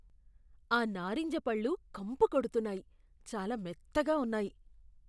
ఆ నారింజ పళ్ళు కంపు కొడుతున్నాయి, చాలా మెత్తగా ఉన్నాయి.